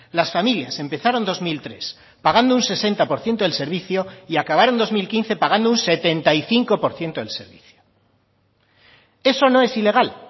las familias empezaron dos mil tres pagando un sesenta por ciento del servicio y acabaron dos mil quince pagando un setenta y cinco por ciento del servicio eso no es ilegal